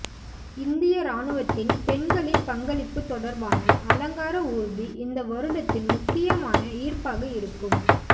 இந்திய ராணுவத்தின் பெண்களின் பங்களிப்பு தொடர்பான அலங்கார ஊர்தி இந்த வருடத்தின் முக்கியமான ஈர்ப்பாக இருக்கும்